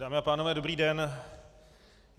Dámy a pánové, dobrý den.